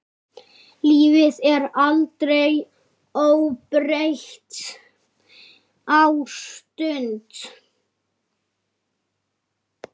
Lífið er aldrei óbreytt ástand.